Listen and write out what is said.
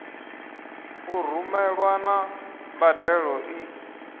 u rumelwa na mbadelo i